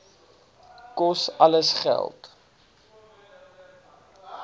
kos alles geld